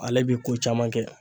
Ale bi ko caman kɛ